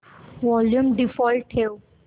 volume default ठेव